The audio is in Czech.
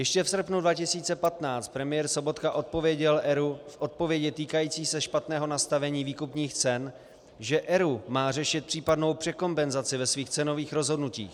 Ještě v srpnu 2015 premiér Sobotka odpověděl ERÚ v odpovědi týkající se špatného nastavení výkupních cen, že ERÚ má řešit případnou překompenzaci ve svých cenových rozhodnutích.